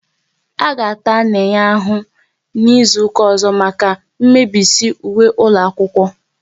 A ga-ata Nenye ahụ n'izuka ọzọ maka ị mebisi uwe ụlọ akwụkwọ